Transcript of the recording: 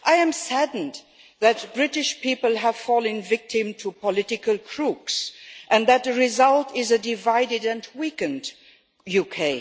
I am saddened that the British people have fallen victim to political crooks and that the result is a divided and weakened UK.